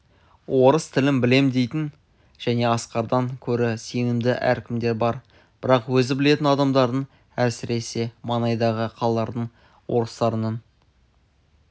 орыс тілін білем дейтін және асқардан көрі сенімді әркімдер бар бірақ өзі білетін адамдардың әсіресе маңайдағы қалалардың орыстарының